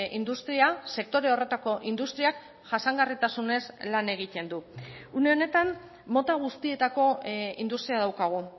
industria sektore horretako industriak jasangarritasunez lan egiten du une honetan mota guztietako industria daukagu